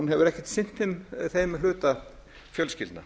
hefur ekkert sinnt þeim hluta fjölskyldna